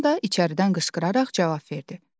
Anam da içəridən qışqıraraq cavab verdi.